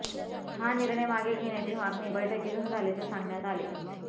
हा निर्णय मागे घेण्याची मागणी बैठकीतून झाल्याचे सांगण्यात आले